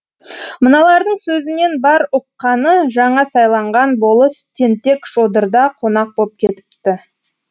мыналардың сөзінен бар ұққаны жаңа сайланған болыс тентек шодырда қонақ боп кетіпті